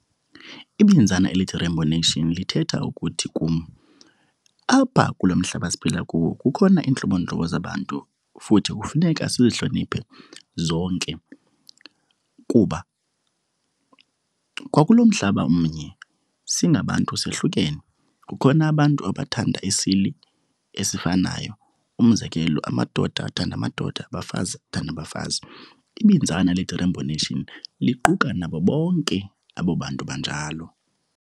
Ibinzana elithi rainbow nation lithetha ukuthi kum apha kulo mhlaba siphila kuwo kukhona iintlobontlobo zabantu futhi kufuneka sihloniphe zonke kuba kwakulo mhlaba umnye singabantu sohlukene. Kukhona abantu abathanda isini esifanayo, umzekelo amadoda athanda amadoda, abafazi bathanda abafazi. Ibinzana elithi rainbow nation liquka nabo bonke abo bantu banjalo.